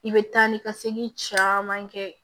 I bɛ taa ni ka segin caman kɛ